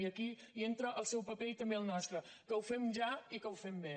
i aquí hi entra el seu paper i també el nostre que ho fem ja i que ho fem bé